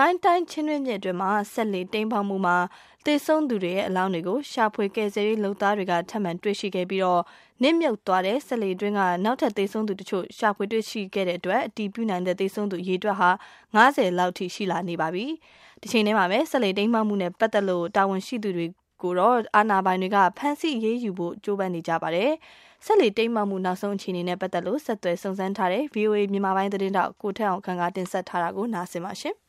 ကိုင်းတိုင်း ချင်းတွင်းမြစ်အတွင်း စက်လှေတိမ်းမှောက်မှုမှာ သေဆုံးသူတွေရဲ့ အလောင်းတွေကို ရှာဖွေကယ်ဆယ်ရေး လုပ်သားတွေ ထပ်မံတွေ့ရှိခဲ့ရပြီး၊ နစ်မြုပ်သွားတဲ့ စက်လှေအတွင်းက နောက်ထပ် သေဆုံးသူတချို့ ရှာဖွေတွေ့ရှိခဲ့တဲ့အတွက် အတည်ပြုနိုင်တဲ့ သေဆုံးသူ အရေအတွက်ဟာ ၅၀ လောက်အထိ ရှိလာနေပါပြီ။ တချိန်တည်းမှာပဲ စက်လှေတိမ်းမှောက်မှုနဲ့ ပတ်သက်လို့ တာဝန်ရှိသူတွေကိုတော့ အာဏာပိုင်တွေက ဖမ်းဆီးအရေးယူဖို့လည်း ကြိုးပမ်းနေကြတာပါ။ စက်လှေတိမ်းမှောက်မှု နောက်ဆုံးအခြေအနေနဲ့ ပတ်သက်လို့ ဆက်သွယ်စုံစမ်းထားတဲ့ ဗွီအိုအေမြန်မာပိုင်း သတင်းထောက် ထက်အောင်ခန့်က တင်ပြပေးမှာ ဖြစ်ပါတယ်။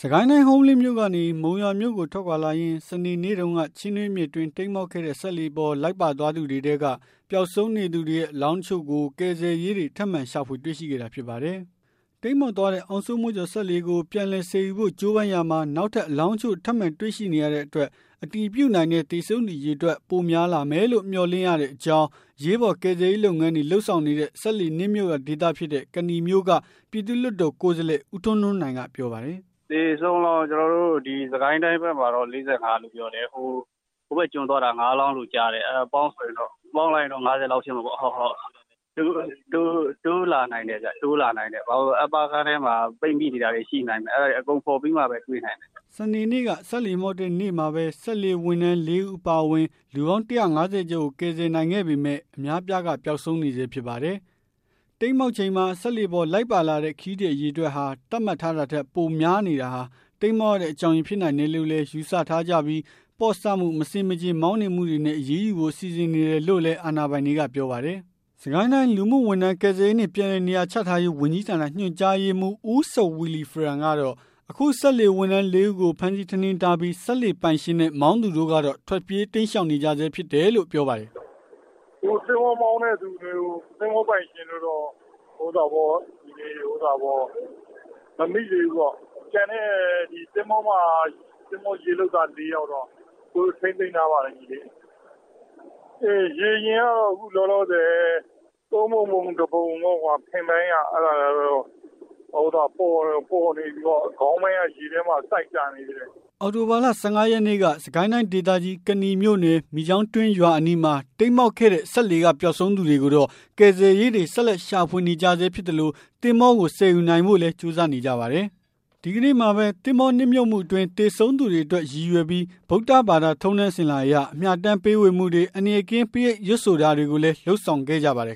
စစ်ကိုင်းတိုင်း ဟုမ္မလင်းမြို့ကနေ မုံရွာမြို့ကိုထွက်ခွာလာရင်း စနေနေ့တုန်းက ချင်းတွင်းမြစ်အတွင်း တိမ်းမှောက်ခဲ့တဲ့ စက်လှေပေါ် လိုက်ပါသွားသူတွေထဲက ပျောက်ဆုံးနေသူတွေရဲ့ အလောင်းတချို့ကို ကယ်ဆယ်ရေးတွေ ထပ်မံရှာဖွေ တွေ့ရှိခဲ့တာ ဖြစ်ပါတယ်။ တိမ်းမှောက်သွားတဲ့ အောင်စိုးမိုးကျော် စက်လှေကို ပြန်လည်ဆယ်ယူဖို့ ကြိုးပမ်းရာမှာ နောက်ထပ် အလောင်းတချို့ ထပ်မံတွေ့ရှိနေရတဲ့အတွက် အတည်ပြုနိုင်တဲ့ သေဆုံးသူအရေအတွက် ပိုများလာမယ်လို့ မျှော်လင့်ရတဲ့အကြောင်း အရေးပေါ် ကယ်ဆယ်ရေး လုပ်ငန်းတွေ လုပ်ဆောင်နေတဲ့ စက်လှေနစ်မြုပ်ရာဒေသဖြစ်တဲ့ ကနီမြို့နယ်က ပြည်သူ့လွှတ်တော် ကိုယ်စားလှယ် ဦးထွန်းထွန်းနိုင် က ပြောပါတယ်။ “သေဆုံးကတော့ ကျနော်တို့ စစ်ကိုင်းတိုင်းဘက်မှာတော့ ၄၅ လို့ပြောတယ်။ ဟိုဘက်မှာတော့ ၅ လောင်းလို့ ကြားတယ်။ အဲဒါပေါင်းလိုက်ရင်တော့ ၅၀ လောက်ဖြစ်မှာပေါ့။ တိုးလာနိုင်တယ်ဗျ ဘာဖြစ်လို့လဲဆိုတော့ Upper ခန်းထဲမှာ ပိတ်မိနေတာတွေရှိနိုင်မယ် အဲဒါတွေ အကုန်ဖော်ပြီးမှပဲ တွေ့နိုင်မယ်။” စနေနေ့က စက်လှေမှောက်တဲ့နေ့မှာပဲ စက်လှေဝန်ထမ်း ၄ ဦး အပါအဝင် လူပေါင်း ၁၅၀ ကျော်ကို ကယ်ဆယ်နိုင်ခဲ့ပေမဲ့ အများအပြားက ပျောက်ဆုံးနေဆဲ ဖြစ်ပါတယ်။ တိမ်းမှောက်ချိန်မှာ စက်လှေပေါ် လိုက်ပါလာတဲ့ ခရီးသည်အရေအတွက်ဟာ သတ်မှတ်ထားတာထက် ပိုများနေတာဟာ တိမ်းမှောက်ရတဲ့ အကြောင်းရင်း ဖြစ်နိုင်တယ်လို့လည်း ယူဆထားကြပြီး၊ ပေါ့ဆမှု၊ မဆင်မခြင် မောင်းနှင်မှုတွေနဲ့ အရေးယူဖို့ စီစဉ်နေတယ်လို့လည်း အာဏာပိုင်တွေက ပြောပါတယ်။ စစ်ကိုင်းတိုင်း လူမှုဝန်ထမ်း၊ ကယ်ဆယ်ရေးနှင့် ပြန်လည်နေရာချထားရေး ဝန်ကြီးဌာန ညွန်ကြားရေးမှူး ဦးစဝီလီဖရန်ကတော့ အခုအခါ စက်လှေဝန်ထမ်း ၄ ဦးကို ဖမ်းဆီးထိန်းသိမ်းထားပြီး၊ စက်လှေပိုင်ရှင်နဲ့ မောင်းသူတို့ကတော့ ထွက်ပြေးတိမ်းရှောင်နေကြဆဲ ဖြစ်တယ်လို့ ပြောပါတယ်။ “သင်္ဘောမောင်းတဲ့သူတွေ သဘောၤပိုင်ရှင်တွေကိုတော့ မမိသေးဘူးပေါ့။ ကျန်တဲ့ သင်္ဘောက ရေလုပ်သား ၄ ယောက်ကတော့ ကျနော်တို့ ထိန်းသိမ်းထားပါတယ်။ ရေယာဉ်ကတော့ အခုလောလောဆယ် ၃ ပုံ ၁ ပုံလောက်တော့ ဖင်ပိုင်းကတော့ ပေါ်နေပြီပေါ့နော် ခေါင်းပိုင်းကတော့ ရေထဲမှာ စိုက်ကျနေတယ်။” အောက်တိုဘာလ ၁၅ ရက်နေ့က စစ်ကိုင်းတိုင်းဒေသကြီး ကနီမြို့နယ် မိချောင်းတွင်းရွာအနီးမှာ တိမ်းမှောက်ခဲ့တဲ့ စက်လှေက ပျောက်ဆုံးနေသူတွေကိုတော့ ကယ်ဆယ်ရေးတွေ ဆက်လက်ရှာဖွေနေကြဆဲဖြစ်သလို၊ သင်္ဘောကို ဆယ်ယူနိုင်ဖို့လည်း ကြိုးစားနေကြပါတယ်။ ဒီကနေ့မှာပဲ သင်္ဘောနစ်မြုပ်မှုအတွင်း သေဆုံးသူတွေအတွက် ရည်ရွယ်ပြီး ဗုဒ္ဓဘာသာ ထုံးတမ်းစဉ်လာအရ အမျှအတန်းပေးဝေမှုတွေ၊ အန္တရာယ်ကင်း ပရိတ်ရွတ်ဆိုတာတွေကိုလည်း လုပ်ဆောင်ခဲ့ကြပါတယ်